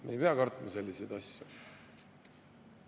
Me ei pea kartma selliseid asju.